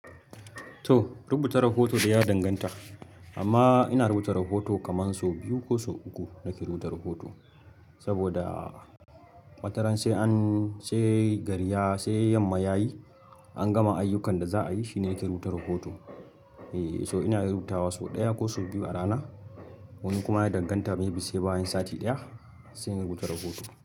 To rubuta rahoto dai ya danganta amma ina rubuta rahoto kaman sau biyu ko sau uku nake rubuta rahoto saboda wata ranasai yamma yayi an gama ayyukan da za a yi shi ne yake rubuta rahoto. E toh ina iya rubutawa sau ɗaya ko sau biyu a rana wani kuma yana danganta maybe sai bayan sati ɗaya sai in rubuta rahoto.